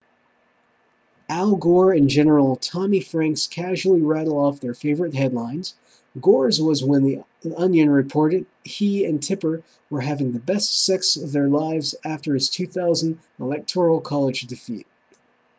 al gore and general tommy franks casually rattle off their favorite headlines gore's was when the onion reported he and tipper were having the best sex of their lives after his 2000 electoral college defeat